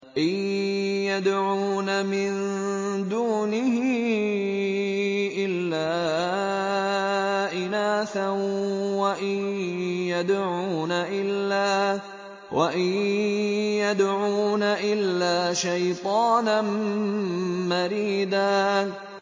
إِن يَدْعُونَ مِن دُونِهِ إِلَّا إِنَاثًا وَإِن يَدْعُونَ إِلَّا شَيْطَانًا مَّرِيدًا